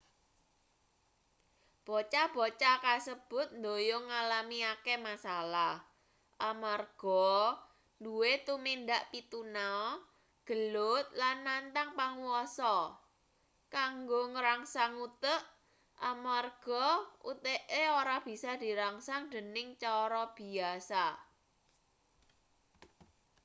bocah-bocah kasebut ndhoyong ngalami akeh masalah amarga nduwe tumindak pituna gelut lan nantang panguwasa kanggo ngrangsang utek amarga uteke ora bisa dirangsang dening cara biyasa